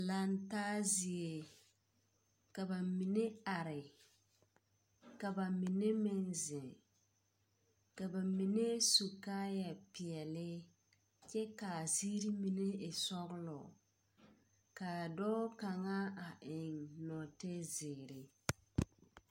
Lantaa zie, ka ba mine are ka ba mine meŋ zeŋ ka ba mine su kaayapeɛle, kyɛ kaa ziiri mine meŋ e sɔgelɔ. Kaa dɔɔ kaŋa a eŋ nɔɔtezeere.